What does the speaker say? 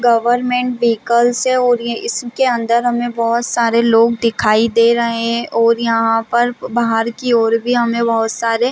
government vehicles और ये इसके अंदर हमें बहुत सारे लोग दिखाई दे रहे है और यहाँ पर बाहर की ओर भी हमें बहुत सारे--